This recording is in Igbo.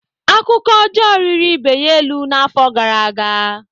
Akụkọ ọjọọ riri ibe ya elu n'afọ gara aga.